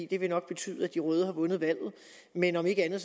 det vil nok betyde at de røde har vundet valget men om ikke andet